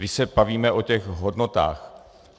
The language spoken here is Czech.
Když se bavíme o těch hodnotách.